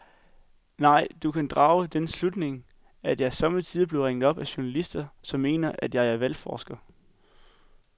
Nej, du kan drage den slutning, at jeg sommetider bliver ringet op af journalister, som mener, at jeg er valgforsker.